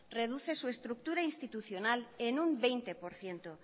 reduce su estructura institucional en un veinte por ciento